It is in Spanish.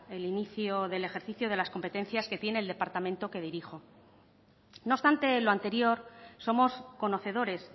el inicio del ejercicio de las competencias que tiene el departamento que dirijo no obstante lo anterior somos conocedores